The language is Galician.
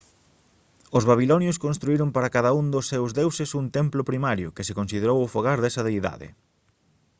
os babilonios construíron para cada un dos seus deuses un templo primario que se considerou o fogar desa deidade